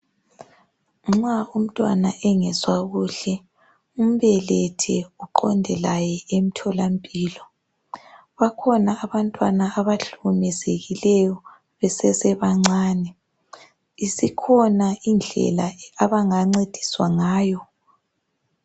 Nxa umntwana engezwa kuhle umbelethe uqonde laye emtholampilo bakhona abantwana abahlukumezekileyo besesebancane isikhona indlela abangancediswa ngayo.